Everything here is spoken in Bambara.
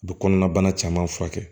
U bɛ kɔnɔna bana caman furakɛ